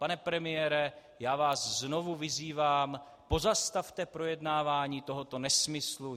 Pane premiére, já vás znovu vyzývám, pozastavte projednávání tohoto nesmyslu.